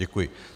Děkuji.